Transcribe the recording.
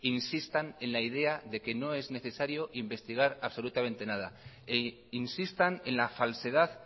insistan en la idea de que no es necesario investigar absolutamente nada e insistan en la falsedad